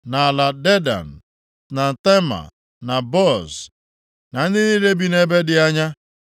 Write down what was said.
na ala Dedan, na Tema, na Buz, na ndị niile bi nʼebe dị anya.